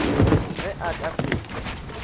ge a ka se hwe